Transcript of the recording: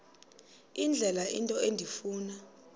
indlela into endifuna